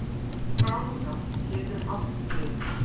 Gráða getur átt við